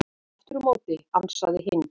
Aftur á móti ansaði hinn: